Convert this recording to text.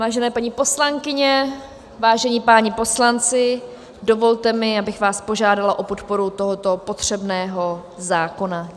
Vážené paní poslankyně, vážení páni poslanci, dovolte mi, abych vás požádala o podporu tohoto potřebného zákona.